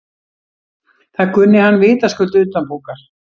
Það kunni hann vitaskuld utanbókar.